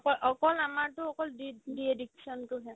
অকল অকল আমাৰতো অকল de ~ dedication তোহে